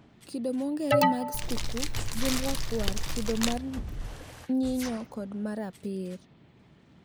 Kido mong`ere mag skuku gin rakwar kido mar nyinyo kod marapir.